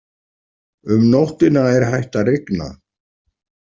Um nóttina er hætt að rigna.